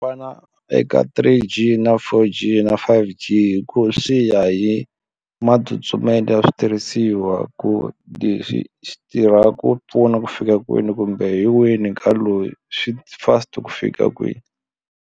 Vana eka three G na four G na five G hi ku swi ya hi matsutsumelo ya switirhisiwa ku swi tirha ku pfuna ku fika kwihi kumbe hi wini ka loyi swi fast ku fika kwihi.